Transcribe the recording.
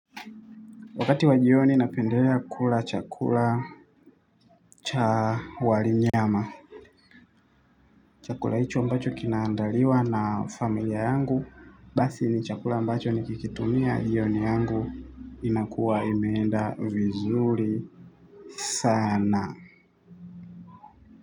Wakati wajioni napendea kula chakula cha wali nyama. Chakula hicho ambacho kinaandaliwa na familia yangu basi ni chakula ambacho nikikitumia jioni yangu inakuwa imeenda vizuri sana.